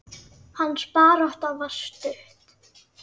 Hans barátta var stutt.